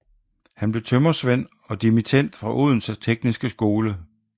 Han blev tømrersvend og dimittend fra Odense Tekniske Skole